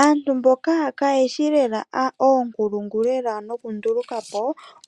Aantu mboka kaayeshi lela oonkulungu nokundulukapo